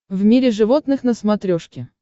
в мире животных на смотрешке